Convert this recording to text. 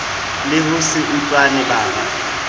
le ho se utlwane bara